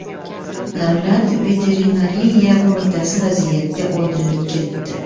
Davlat veterinariya qo‘mitasi vaziyatga oydinlik kiritdi.